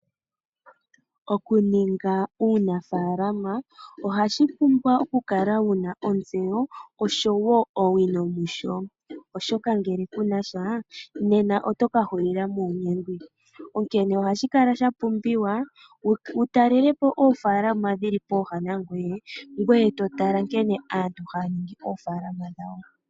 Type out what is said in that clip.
Okuninga uunafaalama ohashi pumbwa okukala wu na ontseyo noshowo owino musho, oshoka ngele ku na sha nena oto ka hulila muunyengwi. Ohashi kala sha pumbiwa wu talele po oofaalama dhi li popepi nangoye e to tala nkene aantu haya ningi oofaalama dhawo.